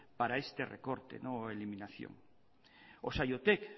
para este recorte o eliminación o saiotek